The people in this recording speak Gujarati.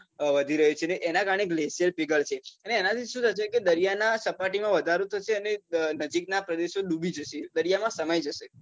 વધી રહ્યું છે ને એનાં કારણે glacier પીગળશે અને એનાથી શું થશે કે દરિયાની સપાટીમાં વધારો થશે અને નજીકના પ્રદેશો ડૂબી જશે દરિયામાં સમાઈ જશે